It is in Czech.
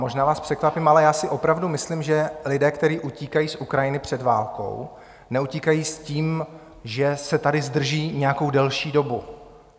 Možná vás překvapím, ale já si opravdu myslím, že lidé, kteří utíkají z Ukrajiny před válkou, neutíkají s tím, že se tady zdrží nějakou delší dobu.